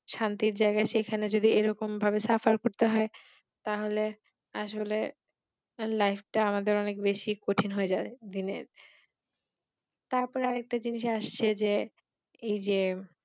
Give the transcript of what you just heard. শান্তির জায়গায় সেখানে যদি এইরকম ভাবে Suffer করতে হয় তা হলে আসলে Life টা আমাদের অনেক বেশি কঠিন হয়ে যায় দিনে। তার পর আরেকটা জিনিষ আসছে যে এই যে।